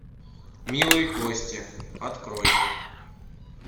милые кости открой